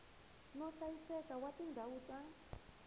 no hlayiseka wa tindhawu ta